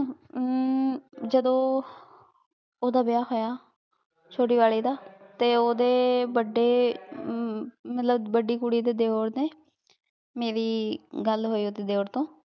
ਜਦੋਂ ਓਹਦਾ ਵਿਯਾਹ ਹੋਯਾ ਚੋਟੀ ਵਾਲੇ ਦਾ ਤੇ ਓਹਦੇ ਵਾਦੇ ਮਤਲਬ ਵਾਦੀ ਕੁਰੀ ਦੇ ਦੇਵਰ ਨੇ ਮੇਰੀ ਗਲ ਹੋਈ ਓਦੇ ਦੇਵਰ ਤੋਂ